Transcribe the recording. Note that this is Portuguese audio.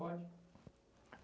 Pode.